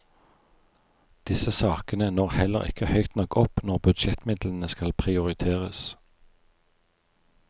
Disse sakene når heller ikke høyt nok opp når budsjettmidlene skal prioriteres.